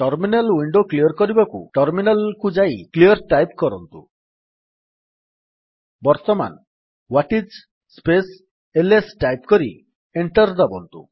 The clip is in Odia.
ଟର୍ମିନାଲ୍ ୱିଣ୍ଡୋ କ୍ଲିଅର୍ କରିବାକୁ ଟର୍ମିନାଲ୍ କୁ ଯାଇ କ୍ଲିଅର୍ ଟାଇପ୍ କରନ୍ତୁ ବର୍ତ୍ତମାନ what is space LS type କରି ଏଣ୍ଟର୍ ଦାବନ୍ତୁ